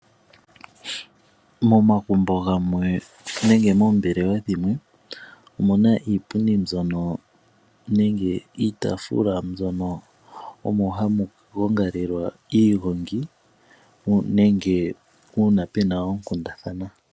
Momagumbo gamwe nenge moombelewa dhimwe omuna iipundi mbyono, nenge iitaafula mbyono omo hamu gongalelwa iigongi nenge uuna puna oonkundathana.